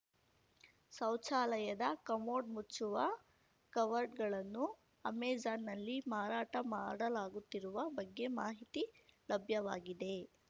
ಶೌಚಾಲಯದ ಕಮೋಡ್‌ ಮುಚ್ಚುವ ಕವರ್‌ಗಳನ್ನು ಅಮೆಜಾನ್‌ನಲ್ಲಿ ಮಾರಾಟ ಮಾಡಲಾಗುತ್ತಿರುವ ಬಗ್ಗೆ ಮಾಹಿತಿ ಲಭ್ಯವಾಗಿದೆ